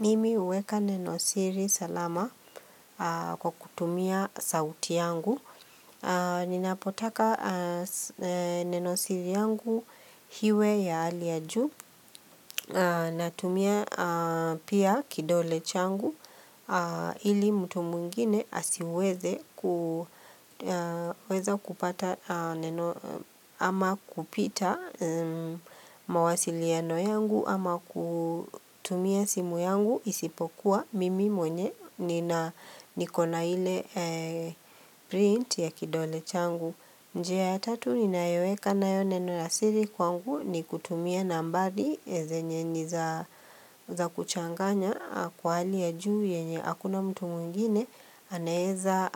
Mimi huweka nenosiri salama kwa kutumia sauti yangu. Ninapotaka nenosiri yangu iwe ya hali ya juu natumia pia kidole changu ili mtu mwingine asiweze kuweza kupata ama kupita mawasiliano yangu ama kutumia simu yangu isipokuwa mimi mwenye nikona ile print ya kidole changu njia ya tatu ninayoweka nayo neno la siri kwangu ni kutumia nambari zenye ni za kuchanganya kwa hali ya juu yenye hakuna mtu mwingine anaeza